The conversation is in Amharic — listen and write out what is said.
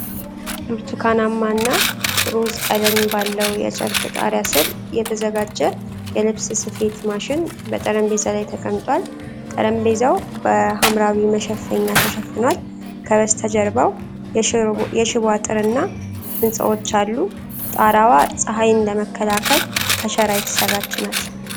ብርቱካናማ እና ሮዝ ቀለም ባለው የጨርቅ ጣሪያ ስር የተዘጋጀ የልብስ ስፌት ማሽን በጠረጴዛ ላይ ተቀምጧል። ጠረጴዛው በሐምራዊ መሸፈኛ ተሸፍኗል። ከበስተጀርባው የሽቦ አጥርና ህንጻዎች አሉ። ጣረዋ ጸሃይን ለመከላከል ከሸራ የተሰራች ናት፡፡